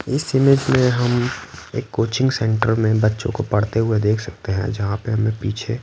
इस इमेज में हम एक कोचिंग सेंटर में बच्चों को पढ़ते हुए देख सकते हैंजहाँ पे हमें पीछे--